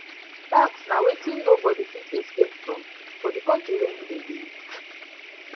tax na tax na wetin nobody fit escape from for di country wey im dey live